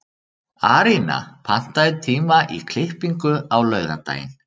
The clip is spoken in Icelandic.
Arína, pantaðu tíma í klippingu á laugardaginn.